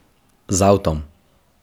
Z avtom.